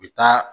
U bɛ taa